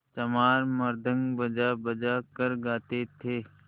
चमार मृदंग बजाबजा कर गाते थे